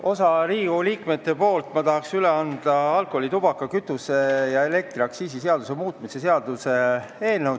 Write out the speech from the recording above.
Osa Riigikogu liikmete nimel tahan ma üle anda alkoholi-, tubaka-, kütuse- ja elektriaktsiisi seaduse muutmise seaduse eelnõu.